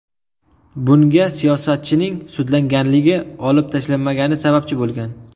Bunga siyosatchining sudlanganligi olib tashlanmagani sababchi bo‘lgan.